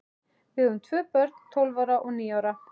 Við eigum tvö börn, tólf ára og níu ára.